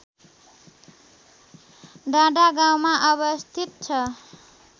डाँडागाउँमा अवस्थित छ